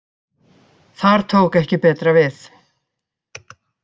Þar tók ekki betra við